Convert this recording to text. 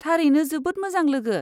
थारैनो जोबोद मोजां लोगो !